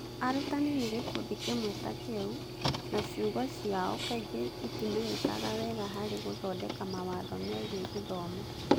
Arutani nĩ gĩkundi kĩmwe ta kĩu, na ciugo ciao kaingĩ itimenyekaga wega harĩ gũthondeka mawatho megiĩ gĩthomo.